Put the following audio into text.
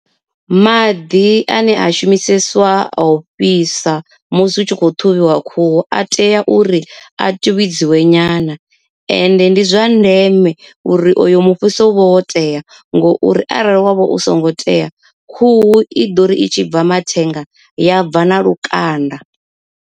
Maḓi ane a shumisesiwa a u fhisa musi u tshi kho ṱhuvhiwa khuhu a tea uri a tuvhidziwe nyana. Ende ndi zwa ndeme uri oyo mufhiso u vhe wo tea ngo uri arali wavha u songo tea khuhu i ḓori i tshi bva mathenga ya bva na lukanda.